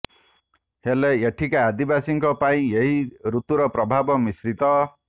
ହେଲେ ଏଠିକା ଆଦିବାସୀଙ୍କ ପାଇଁ ଏହି ଋତୁର ପ୍ରଭାବ ମିଶ୍ରିତ